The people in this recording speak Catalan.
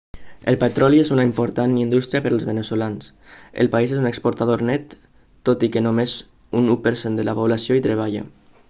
el petroli és una important indústria per als veneçolans el país és un exportador net tot i que només un u per cent de la població hi treballa